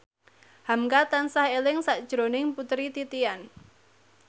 hamka tansah eling sakjroning Putri Titian